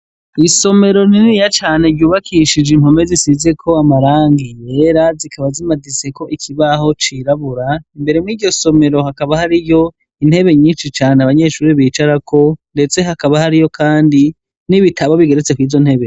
Isomero rininiya cane ryubakishije impome zisizeko amarangi yera zikaba zimaditseko ikibaho cirabura, imbere muri iryo somero hakaba hariyo intebe nyinshi cane abanyeshure bicarako ndetse hakaba hariyo kandi n'ibitabo bigeretse kw'izo ntebe.